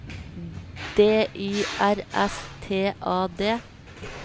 D Y R S T A D